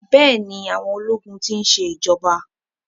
Bẹ́ẹ̀ni, àwọn ológun ti ń ṣe ìjọba.